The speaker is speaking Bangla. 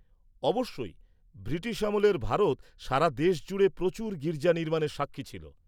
অবশ্যই। ব্রিটিশ আমলের ভারত সারা দেশ জুড়ে প্রচুর গীর্জা নির্মাণের সাক্ষী ছিল।